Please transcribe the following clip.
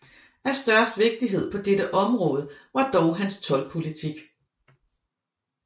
Af størst vigtighed på dette område var dog hans toldpolitik